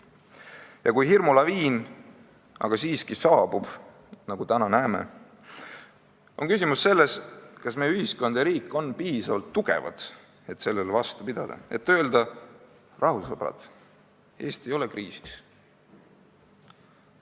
Ja kui hirmulaviin siiski saabub, nagu me täna näeme, on küsimus selles, kas meie ühiskond ja riik on piisavalt tugevad, et vastu pidada, öeldes: "Rahu, sõbrad, Eesti ei ole kriisis.